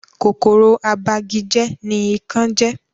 Kòkòrò abagijẹ́ ní ikán jẹ́